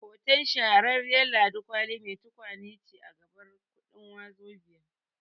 Hoton Shahararriyar Ladi Kwali mai tukwane ce a gabar kuɗin Wazobia